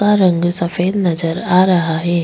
का रंग सफ़ेद नजर आ रहा है।